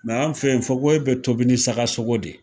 Mɛ an fɛ yen fokohoye bɛ tobi ni saga sogo de